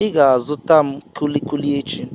Ị ga-azụta m kulikuli echi.